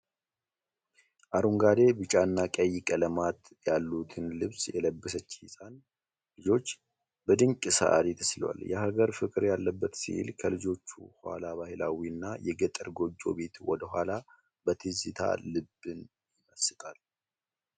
አረንጓዴ ፣ ቢጫ እና ቀይ ቀለማት ያሉትን ልብስ የለበሰች ህፃን ልጆች በድንቅ ሰዓሊ ተስሏል። የሀገር ፍቅር ያለበት ስዕል ከልጆቹ ኋላ ባህላዊ እና የገጠር ጎጆ ቤት ወደ ኋላ በትዝታ ልብን ይመስጣል!